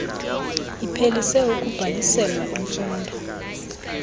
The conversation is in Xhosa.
iphelise ukubhaliselwa imfundo